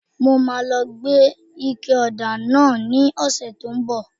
Mo máa lọ gbé ike ọ̀dà náà ní ọ̀sẹ̀ tí ó ń bọ̀